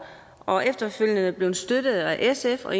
og vi er efterfølgende blevet støttet af sf og